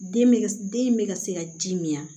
Den bɛ den in bɛ ka se ka ji min